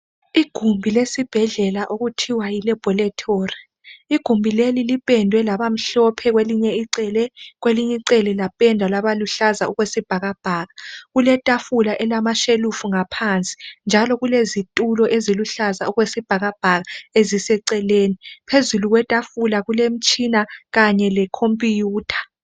Igumbi lesibhedlela okuthiwa yi Laboratorie igumbi leli lipendwe labamhlophe kwelinye icele kwelinye icele lapendwa labaluhlaza okwesibhakabhaka kuletafula elilamashelufu ngaphansi njalo kulezitulo eziluhlaza okwesibhakabhaka eziseceleni phezulu kwetafula kulemitshina kanye lecomputer